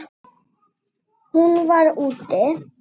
Hún var: úti.